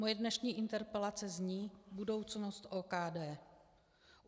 Moje dnešní interpelace zní Budoucnost OKD.